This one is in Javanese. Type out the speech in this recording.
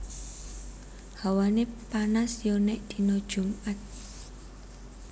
Hawane panas yo nek dino jumat